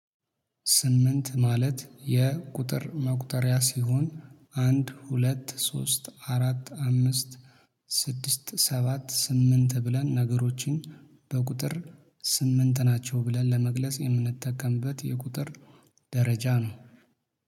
ስምንት ማለት የቁጥር መቁጠሪያ ሲሆን አንድ ሁለት ሶስት አራት አምስት ስድስት ሰባት ስምንት ብለን ነገሮችን በቁጥር ስምንት ናቸው ብለን ለመግለጽ የምንጠቀምበት የቁጥር ደረጃ ነው